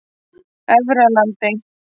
Efralandi